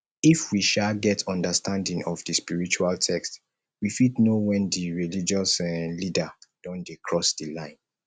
if we um get understanding of di spiritual text we fit know when di religious um leader don dey cross di line